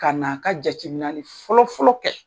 Kaa na a ka jateminali fɔlɔ-fɔlɔ kɛ.